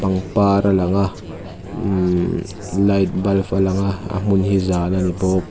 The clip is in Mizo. pangpar a lang a ummhh light bulb a lang a a hmun hi zan a ni bawk.